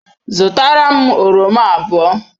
Zụtara m oroma abụọ.